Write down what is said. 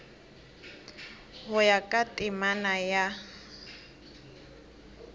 go ya ka temana ya